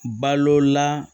Balola